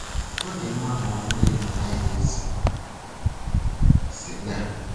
"Ọ dị mma ma ọ bụrụ na ị naghị ese sịga.